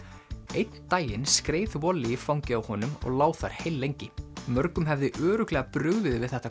einn daginn skreið í fangið á honum og lá þar heillengi mörgum hefði örugglega brugðið við þetta